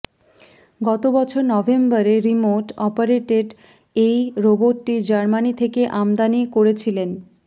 গতবছর নভেম্বরে remote operated এই রোবটটি জার্মানি থেকে আমদানি করেছিলেন